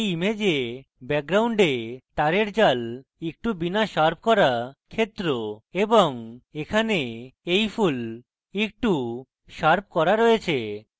in image background তারের জাল একটু bit শার্প করা ক্ষেত্র এবং এখানে in ফুল একটু শার্প করা রয়েছে